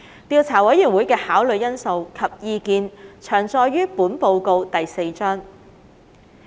調查委員會的考慮因素及意見詳載於本報告第4章。